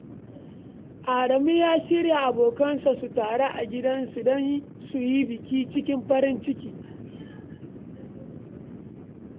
Adamu ya shawarci abokansa su taru a gidansa don su yi biki cikin farin ciki.